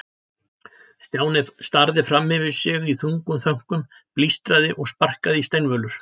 Stjáni starði fram fyrir sig í þungum þönkum, blístraði og sparkaði í steinvölur.